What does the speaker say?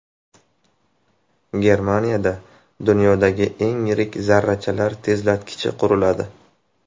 Germaniyada dunyodagi eng yirik zarrachalar tezlatkichi quriladi.